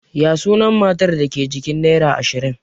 Ya sunan matar da ke jikin nera ashirin?